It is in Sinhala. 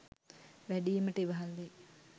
වැඩීමට ඉවහල් වෙයි.